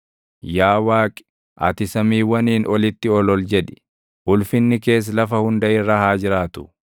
Yaa Waaqi, ati samiiwwaniin olitti ol ol jedhi; ulfinni kees lafa hunda irra haa jiraatu.